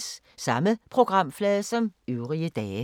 Samme programflade som øvrige dage